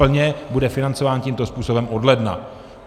Plně bude financován tímto způsobem od ledna.